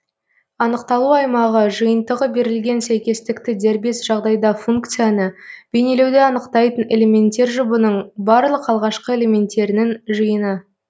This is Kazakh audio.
анықталу аймағы жиынтығы берілген сәйкестікті дербес жағдайда функцияны бейнелеуді анықтайтын элементтер жұбының барлық алғашқы элементтерінің жиыны